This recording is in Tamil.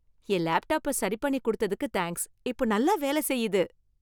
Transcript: என் லேப்டாப்ப சரி பண்ணி கொடுத்ததுக்கு தேங்க்ஸ். இப்ப நல்லா வேல செய்யுது.